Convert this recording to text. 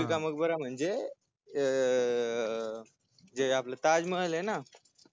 बिबी का मकबरा म्हणजे अं आपल जे आपल ताजमहलय ना